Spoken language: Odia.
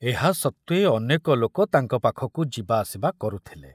ଏହା ସତ୍ତ୍ବେ ଅନେକ ଲୋକ ତାଙ୍କ ପାଖକୁ ଯିବା ଆସିବା କରୁଥିଲେ।